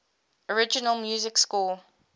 original music score